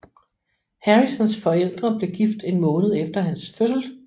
Harrisons forældre blev gift en måned efter hans fødsel